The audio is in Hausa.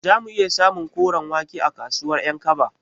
Zamu iya samun koren wake a kasuwar Ƴankaba?